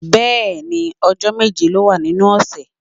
Bẹ́ẹ̀ni, ọjọ́ méje ló wà nínú ọ̀sẹ̀.